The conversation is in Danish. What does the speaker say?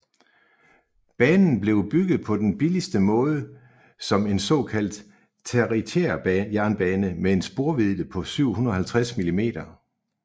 Banen blev bygget på den billigste måde som en såkaldt tertiærjernbane med en sporvidde på 750 mm